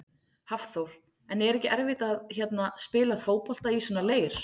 Hafþór: En er ekki erfitt að hérna, spila fótbolta í svona leir?